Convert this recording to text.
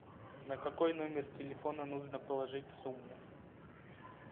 на какой номер телефона нужно положить сумму